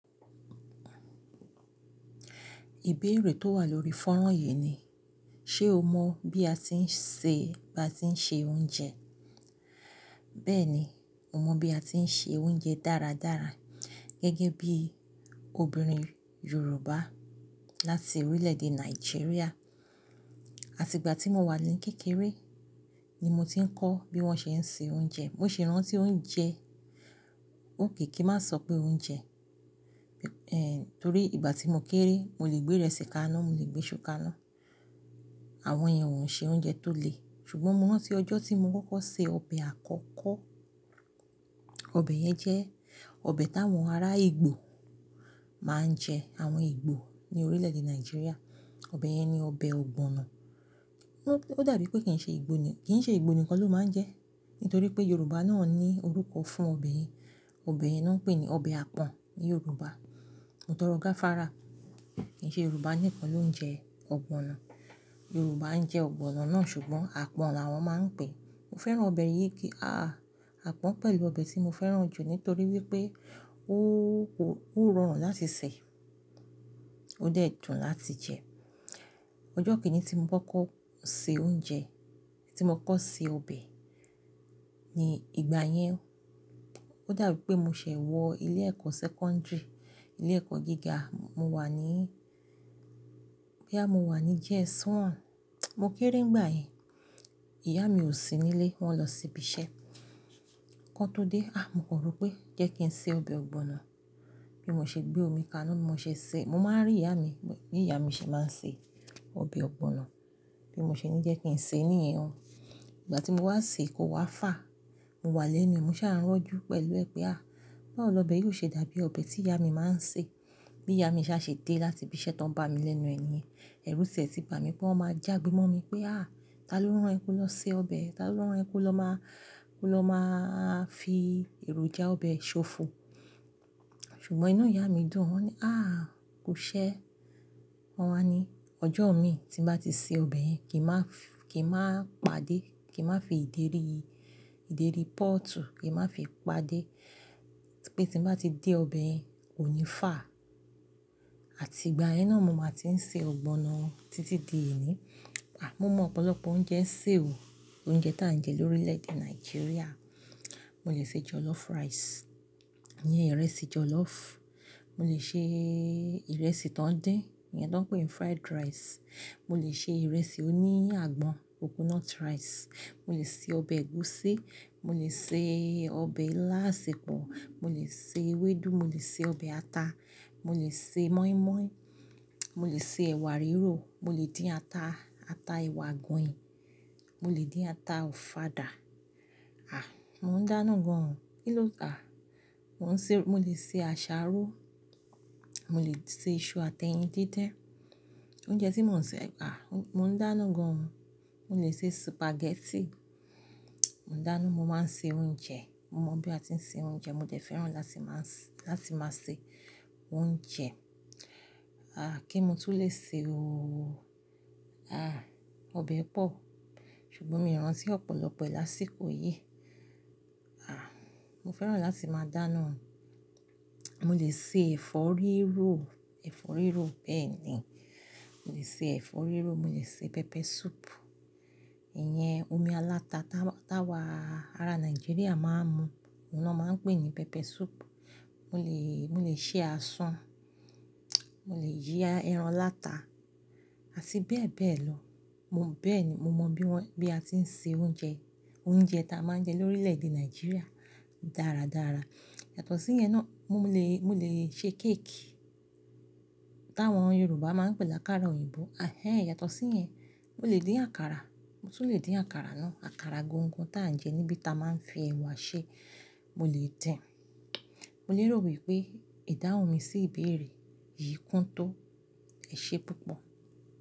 Ìbéèrè tó wà lórí fọ́nrán yìí ni, ṣe o mọ̀ bí a ti ń ṣe, bá ti ń ṣe oúnjẹ? Bẹ́ẹ̀ni, mo mọ bí a ti ń ṣe oúnjẹ dáradára gẹ́gẹ́ bí obìnrin Yorùbá láti orílẹ̀-èdè Nàìjíríà. Àti ìgbà tí mo wà ní kékeré ni mo ti ń kọ́ bí wọ́n ṣe ń ṣe oúnjẹ. Mo sì rántí oúnjẹ, òkè kí n má sọ pé oúnjẹ. Torí ìgbà tí mo kéré, mo lè gbé ìrẹsì kaná, mo lè gbé sú kà ná. Àwọn iyen ò ń ṣe oúnjẹ tó le. Ṣùgbọ́n mo rántí ọjọ́ tí mo kọ́kọ́ ṣe ọbẹ̀ àkọ́kọ́. Ọbẹ̀ yẹn jẹ́ ọbẹ̀ táwọn ará Ìgbò máa ń jẹ. Àwọn Ìgbò ní orílẹ̀-èdè Nàìjíríà. Ọbẹ̀ yẹn ni ọbẹ̀ ọ̀gbọ̀nọ̀. Ó dàbí pé kì ń ṣe Ìgbò nìkan ló máa ń jẹ ẹ́. Nítorí pé Yorùbá náà ní orúkọ fún ọbẹ̀ yẹn. Ọbẹ̀ yen náà pé ní ọbẹ̀ àpọ̀n ní Yorùbá. Mó tọ̀rọ̀ gá fara, kì ń ṣe Yorùbá nìkan ló ń jẹ ọ̀gbọ̀nọ̀. Yorùbá ń jẹ ọ̀gbọ̀nọ̀ náà ṣùgbọ́n àpọ̀n làwọn máa ń pè é. Mo fẹ́ràn ọbẹ̀ yìí àpọ̀n pẹ̀lú ọbẹ̀ tí mo fẹ́ràn jù nítorí wípé ó ko, ó rọrùn láti sè, ó dàẹ́ dùn láti jẹ. Ọjọ́ kìn-ín tí mo kọ́kọ́ ṣe oúnjẹ, tí mo kọ́kọ́ ṣe ọbẹ̀ ni ìgbà yẹn. Ó dàbí pé mo ṣẹ̀ wọ ilé ẹ̀kọ́ sẹ́kọ́ńdìrì, ilé ẹ̀kọ́ gíga. Mo wà ní, bí à mo wà ní JSS 1. Mo kéré nígbà yẹn. Ìyá mi ò sí nílé, wọ́n lọ sí ibi iṣẹ́. Kọ́ tó dé, a! Mo kọ̀ró pé jẹ́ kí n ṣe ọbẹ̀ ọ̀gbọ̀nọ̀. Bí mo ṣe gbé omi kaná, mo ṣe ṣe, mo máa ń rí ìyá mi, bí ìyá mi ṣe máa ń ṣe ọbẹ̀ ọ̀gbọ̀nọ̀. Bí mo ṣe ní jẹ́ kí n ṣe níìyẹn ó. Ìgbà tí mo wá sè, é kó wá fà, mo wà lénu. Mo sá ń rojú pẹ̀lú ẹ pé a! Báwo lọ bẹ̀ yì óò ṣe dàbí ọbẹ̀ tí ìyá mi máa ń sè? Bí ìyá mi ṣa ṣe dé láti ibi iṣẹ́ tán bá mi lẹ́nu nìyẹn, ẹ̀rù tíẹ̀ tì bà mí pé wọ́n máa jà gbé mọ́ mi pé a! Tá ló rán ẹ ko lọ ṣe ọbẹ̀? Tá ló rán ẹ ko lọ má, ko lọ máa fi èròjà ọbẹ̀ ṣòfò? Ṣùgbọ́n inú ìyá mi dùn. Wọ́n ní a! Kú ṣẹ. Wọ́n wá ní ọjọ́ mi tí n bá ti ṣe ọbẹ̀ yẹn, kí n má, kí n má pàdé, kí n má fi ìdérí, ìdérí póòtù kí n má fi pàdé pé tí n bá ti dé ọbẹ̀ yẹn kò ní fà. Àti ìgbà yẹn náà mo máa ti ń ṣe ọ̀gbọ̀nọ̀ títí di òní. Mo mọ ọ̀pọ̀lọpọ̀ oúnjẹ sè o. Oúnjẹ tà ń jẹ lórílẹ̀ èdè Nàìjíríà. Mo lè ṣe jọlọ́fù rice. Íyẹn ìrẹsì jọlọ́fù. Mo lè ṣe ìrẹsì tó ń dín. Ìyẹn tó ń pè ní fried rice. Mo lè ṣe ìrẹsì oní àgbọn, coconut rice. Mo lè ṣe ọbẹ̀ ẹ̀gúsí. Mo lè ṣe ọbẹ̀ ilá àsèpọ̀. Mo lè ṣe ewédú. Mo lè ṣe ọbẹ̀ ata. Mo lè ṣe mọ́ímọ́í. Mo lè ṣe ẹ̀wà riró. Mo lè dín ata, ata ewà gùnyì. Mo lè dín ata ọ̀fàdà. Mò ń dáná gan-an. Kí ló à? Mo ń ṣe, mo lè ṣe àṣáró. Mo lè ṣe iṣu àti ẹyin dídín. Oúnjẹ tí mò ń ṣe a mò ń dáná gan-an. Mo lè ṣe sùpàgẹ́tì. Mò ń dáná. Mo máa ń ṣe oúnjẹ. Mo mọ bí a ti ń ṣe oúnjẹ. Mo jẹ̀ fẹ́ràn láti máa, láti máa ṣe oúnjẹ. Kí mo tún lè ṣe o. Ọbẹ̀ pọ̀. Ṣùgbọ́n mi ò rántí ọ̀pọ̀lọpọ̀ e lá síkò yìí. A! Mo fẹ́ràn láti máa dáná. Mo lè ṣe ẹ̀fọ́ rírò. Ẹ̀fọ́ rírò bẹ́ẹ̀ ni. Mo lè ṣe ẹ̀fọ́ rírò. Mo lè ṣe pẹpẹ súùpù. Ìyẹn omi aláta táwò, táwà ará Nàìjíríà máa ń mu. Òun náa máa ń pè ní pẹpẹ súùpù. Mo lè, mo lè ṣe asun. Mo lè yí ẹran aláta. Àti bẹ́ẹ̀ bẹ́ẹ̀ lọ. Mo, bẹ́ẹ̀ ni mo mọ bí wọ́n, bí a ti ń ṣe oúnjẹ. Oúnjẹ ta máa ń jẹ lórílẹ̀ èdè Nàìjíríà dáradára. Yàtọ̀ sí yẹn náà mo lè, mo lè ṣe kéèkì táwọn Yorùbá máa ń pè lákàrà òyìnbó. Hẹ́ẹ́ yàtọ̀ sí yẹn, mo lè dín àkàrà. Mo tún lè dín àkàrà náà. Àkàrà gángan tí à ń jẹ níbi tí a máa ń fi ẹ̀wà ṣe. Mo lè tẹ́ ẹ. Mo lérò wípé ìdáhùn mi sí ìbéèrè yìí kún tó. Ẹ ṣé púpọ̀.